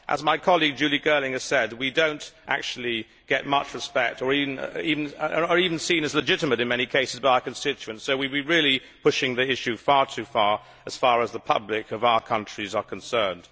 As my colleague, Julie Girling, has said, we do not actually get much respect nor are we even seen as legitimate in many cases by our constituents, so we are really pushing the issue far too far as far as the public of our countries are concerned.